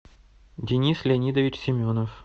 денис леонидович семенов